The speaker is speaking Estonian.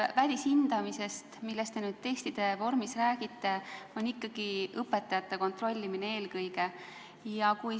Välishindamine testide vormis, millest te räägite, on ikkagi õpetajate kontrollimine eelkõige.